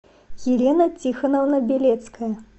елена тихоновна белецкая